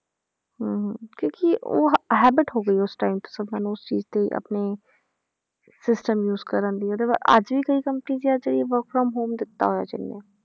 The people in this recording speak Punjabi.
ਹਾਂ ਹਾਂ ਕਿਉਂਕਿ ਉਹ ਹ~ habit ਹੋ ਗਈ ਉਸ time ਤੇ ਸਭਨਾਂ ਨੂੰ ਉਸ ਚੀਜ਼ ਦੀ ਆਪਣੀ system use ਕਰਨ ਦੀ ਤੇ ਪਰ ਅੱਜ ਵੀ ਕਈ company ਜਿੰਨਾਂ 'ਚ ਇਹ work from home ਦਿੱਤਾ ਹੋਇਆ ਜਿਹਨੇ